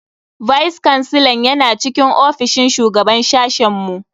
Vice kansilan yana cikin ofishin shugaban sashen mu.